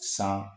San